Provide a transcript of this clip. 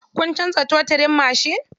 Kun canza totirin mashin?